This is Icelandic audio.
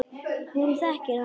Hún þekkir hann ekki.